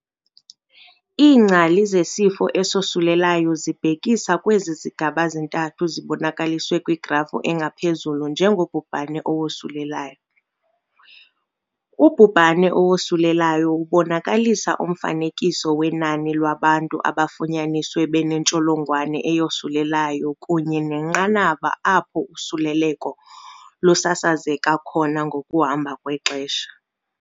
Iingcali zesifo esosulelayo zibhekisa kwezi zigaba zintathu zibonakaliswe kwigrafu engaphezulu njengobhubhane owosulelayo. Ubhubhane owosulelayo ubonakalisa umfanekiso wenani lwabantu abafunyaniswe benentsholongwane eyosulelayo kunye nenqanaba apho usuleleko lusasazeka khona ngokuhamba kwexesha.